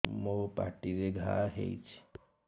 ମୋର ପାଟିରେ ଘା ହେଇଚି